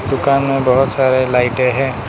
दुकान में बहुत सारे लाइटें हैं।